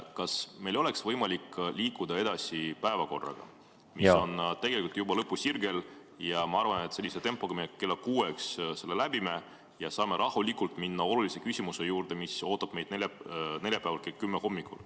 Kas meil oleks võimalik liikuda edasi päevakorraga, mis on tegelikult juba lõpusirgel, ja ma arvan, et sellise tempoga me kella kuueks selle läbime ja saame rahulikult minna olulise küsimuse juurde, mis ootab meid neljapäeval kell 10 hommikul.